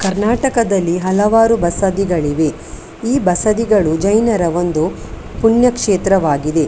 ಕರ್ನಾಟಕದಲ್ಲಿ ಹಲವಾರು ಬಸದಿಗಳಿವೆ ಈ ಬಸದಿಗಳು ಜೈನರ ಪುಣ್ಯ ಕ್ಷೇತ್ರವಾಗಿದೆ .